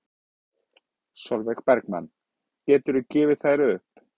Sólveig Bergmann: Geturðu gefið þær upp?